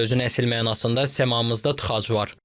Sözün əsl mənasında səmamızda tıxac var.